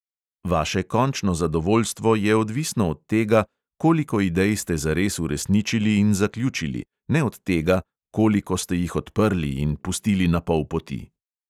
Vaše končno zadovoljstvo je odvisno od tega, koliko idej ste zares uresničili in zaključili, ne od tega, koliko ste jih odprli in pustili na pol poti.